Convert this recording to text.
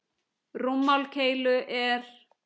Rúmmál keilu er